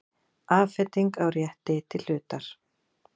Afhending á rétti til hlutar.